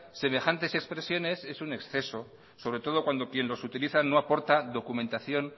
semejantes expresiones es un exceso sobre todo cuando quien los utiliza no aporta documentación